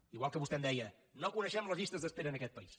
igual que vostè em deia no coneixem les llistes d’es pera en aquest país